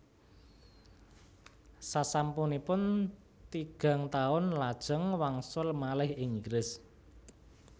Sasampunipun tigang taun lajeng wangsul malih ing Inggris